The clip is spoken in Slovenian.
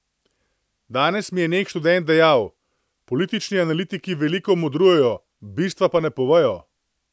Danes mi je nek študent dejal: "Politični analitiki veliko modrujejo, bistva pa ne povejo.